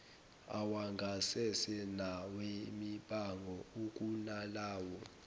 awangasese nawemibango ukunalawo